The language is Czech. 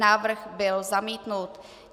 Návrh byl zamítnut.